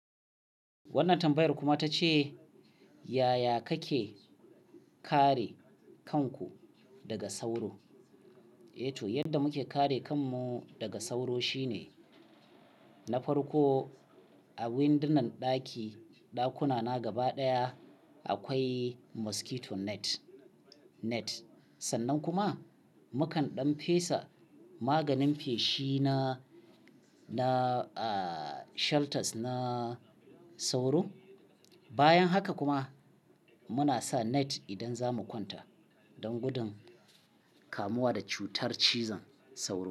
Wannan tambayar kuma ta ce yaya kake kare kanku daga sauro? Yanda muke kare kanmu daga sauro shine na farko a windunan ɗaki, ɗakuna na gaba ɗaya akwai mosquito net. Sannan kuma mukan ɗan fesa maganin feshi na shelters na sauro. Bayan haka kuma muna sa net idan za mu kwanta don gudun kamuwa da cutar cizon sauro.